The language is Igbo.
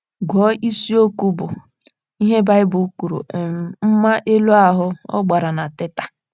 Gụọ isiokwu bụ́ ““ Ihe Baịbụl Kwuru — um Mma Elu Ahụ́. ” Ọ gbara na Teta!